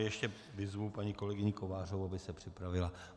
Ještě vyzvu paní kolegyni Kovářovou, aby se připravila.